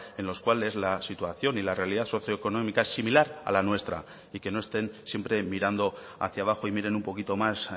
en los cuales la situación y la realidad socioeconómica es similar a la nuestra y que no estén siempre mirando hacia abajo y miren un poquito más